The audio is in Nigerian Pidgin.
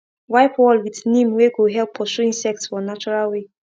wipe wall with neem wey go help pursue insects for natural way